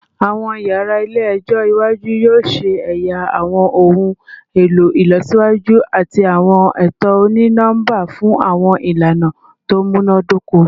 Awọn yara ile-ẹjọ iwaju yoo ṣe ẹya awọn ohun elo ilọsiwaju ati awọn eto oni-nọmba fun awọn ilana to munadoko